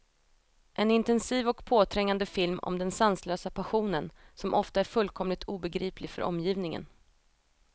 En intensiv och påträngande film om den sanslösa passionen, som ofta är fullkomligt obegriplig för omgivningen.